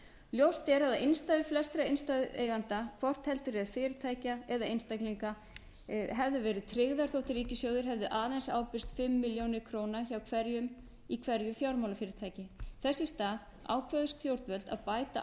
ljóst er að innstæður flestra innstæðueigenda hvort heldur er fyrirtækja eða einstaklinga hefðu verið tryggðar þótt ríkissjóður hefði aðeins ábyrgst fimm milljónir króna hjá hverjum í hverju fjármálafyrirtæki þess í stað ákváðu stjórnvöld að bæta